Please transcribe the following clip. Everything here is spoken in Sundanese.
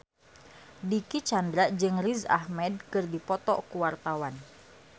Dicky Chandra jeung Riz Ahmed keur dipoto ku wartawan